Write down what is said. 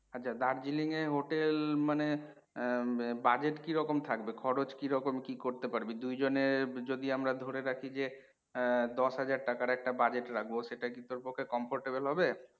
আচ্ছা, Darjeeling এর hotel মানে আহ budget কিরকম থাকবে, খরছ কিরকম কি করতে পারবি? দুইজনের যদি আমরা ধরে রাখি যে আহ দশ হাজার টাকার একটা budget রাখবো সেটা কি তোর পক্ষে comfortable হবে?